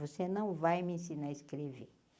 Você não vai me ensinar a escrever.